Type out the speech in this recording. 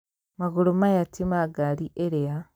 Magũrũ maya ti ma ngaari ĩrĩa